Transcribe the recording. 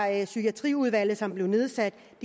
at psykiatriudvalget som blev nedsat